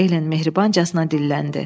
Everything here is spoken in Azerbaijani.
Ellen mehribancasına dilləndi.